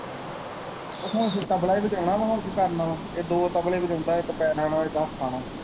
ਹੁਣ ਤਬਲਾ ਈ ਵਜਾਉਣਾ ਵਾ ਹੁਣ ਕੀ ਕਰਨਾ ਵਾ ਇਹ ਦੋ ਤਬਲੇ ਵਜਾਉਂਦਾ ਇੱਕ ਪੈਰਾਂ ਨਾਲ ਇੱਕ ਹੱਥਾਂ ਨਾਲ।